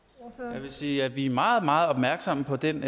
jeg vil sige at vi er meget meget opmærksomme på den